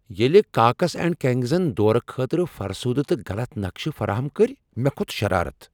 ییٚلہ Cox and کنگزن دورٕ خٲطرٕ فرسودٕ تہٕ غلط نقشہٕ فراہم کٔرۍ، مےٚ كھوت شرارتھ ۔